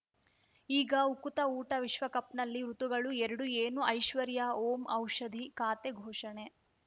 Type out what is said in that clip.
ಈಗ ಉಕುತ ಊಟ ವಿಶ್ವಕಪ್‌ನಲ್ಲಿ ಋತುಗಳು ಎರಡು ಏನು ಐಶ್ವರ್ಯಾ ಓಂ ಔಷಧಿ ಖಾತೆ ಘೋಷಣೆ